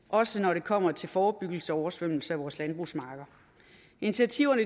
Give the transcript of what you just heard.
også når det kommer til forebyggelse af oversvømmelse af vores landbrugsarealer initiativerne